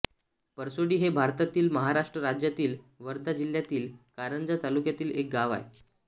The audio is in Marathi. परसोडी हे भारतातील महाराष्ट्र राज्यातील वर्धा जिल्ह्यातील कारंजा तालुक्यातील एक गाव आहे